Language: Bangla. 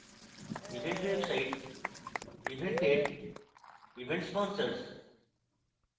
event website event date event sponsors